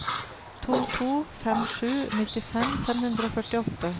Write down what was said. to to fem sju nittifem fem hundre og førtiåtte